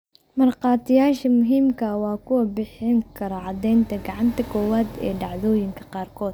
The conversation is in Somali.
Markhaatiyaasha muhiimka ah waa kuwa bixin kara caddaynta gacanta koowaad ee dhacdoyinka qaarkood.